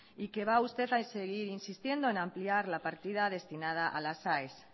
y que va usted a seguir insistiendo en ampliar la partida destinada a las aes